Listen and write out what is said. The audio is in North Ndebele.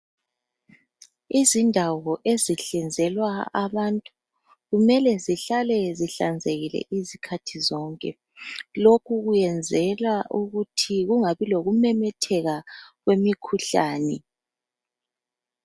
Izindawo ezihlinzelwa abantu kumele zihlale zihlanzekile izikhathi zonke lokhu kuyekwenzelwa ukuthi kungabi lokumemetheka kwemikhuhlane